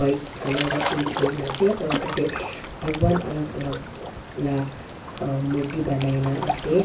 white colour wa paint kurina ase aro tatey bhagwan alak alak la murthi banai na ase.